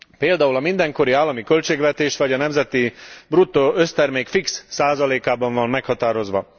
Például a mindenkori állami költségvetés vagy a nemzeti bruttó össztermék fix százalékában van meghatározva.